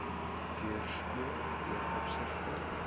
weerspieël ten opsigte